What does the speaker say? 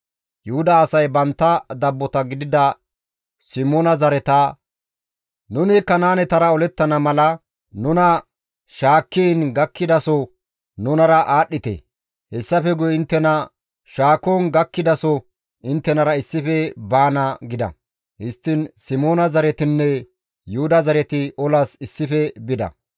Yuhuda asay bantta dabbota gidida Simoona zareta, «Nuni Kanaanetara olettana mala nuna shaakkiin gakkidaso nunara aadhdhite. Hessafe guye inttena shaakon gakkidaso inttenara issife baana» gida; histtiin Simoona zaretinne Yuhuda zareti olas issife bida.